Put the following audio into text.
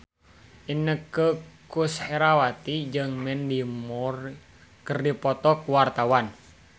Inneke Koesherawati jeung Mandy Moore keur dipoto ku wartawan